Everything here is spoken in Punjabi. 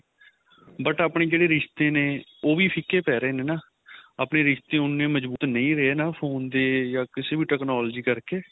but ਆਪਣੇ ਜਿਹੜੇ ਰਿਸ਼ਤੇ ਨੇ ਉਹ ਵੀ ਫਿਕੇ ਪੈ ਰਹੇ ਨੇ ਨਾ ਆਪਣੇ ਰਿਸ਼ਤੇ ਉਹਨੇ ਮਜਬੂਤ ਨਹੀਂ ਰਹੇ ਹਨਾ phone ਦੇ ਜਾਂ ਕਿਸੇ ਵੀ technology ਕਰ ਕੇ